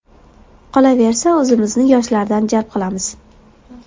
Qolaversa, o‘zimizni yoshlardan jalb qilamiz.